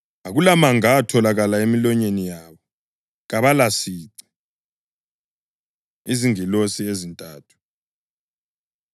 Akulamanga atholakala emilonyeni yabo; kabalasici. Izingilosi Ezintathu